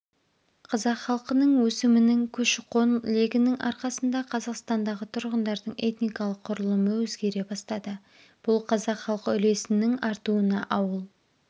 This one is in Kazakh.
қазақ халқының өсімінің көші-қон легінің арқасында қазақстандағы тұрғындардың этникалық құрылымы өзгере бастады бұл қазақ халқы үлесінің артуына ауыл